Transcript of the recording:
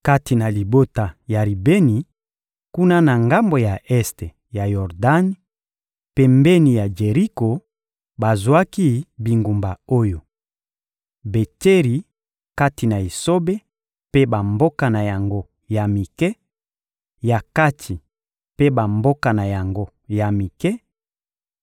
Kati na libota ya Ribeni, kuna na ngambo ya este ya Yordani, pembeni ya Jeriko, bazwaki bingumba oyo: Betseri, kati na esobe, mpe bamboka na yango ya mike; Yakatsi mpe bamboka na yango ya mike,